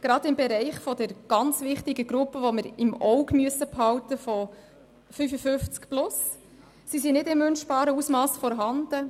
Gerade im Bereich der ganz wichtigen Gruppe der «55 plus», die wir im Auge behalten müssen, sind sie nicht in wünschbarem Ausmass vorhanden.